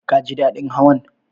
Ka ji daɗin Hawan?